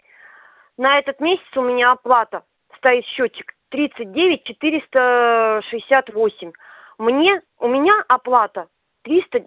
на этот месяц у меня оплата стоит счётчик тридцать девять четыреста ээ шестьдесят восемь мне у меня оплата триста